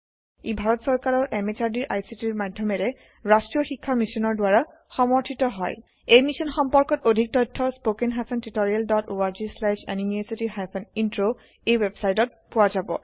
ই ভাৰত চৰকাৰৰ MHRDৰ ICTৰ মাধয়মেৰে ৰাস্ত্ৰীয় শিক্ষা মিছনৰ দ্ৱাৰা সমৰ্থিত হয় এই মিশ্যন সম্পৰ্কত অধিক তথ্য spoken hyphen tutorial dot org slash এনএমইআইচিত হাইফেন ইন্ট্ৰ ৱেবচাইটত পোৱা যাব